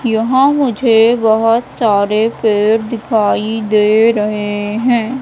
यहां मुझे बहोत सारे पेड़ दिखाई दे रहे हैं।